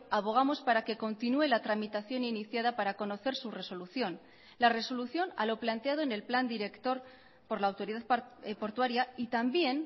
abogamos para que continúe la tramitación iniciada para conocer su resolución la resolución a lo planteado en el plan director por la autoridad portuaria y también